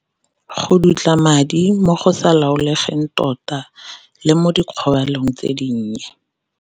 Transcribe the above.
Go dutla madi mo go sa laolegang tota, le mo di kgobalong tse dinnye.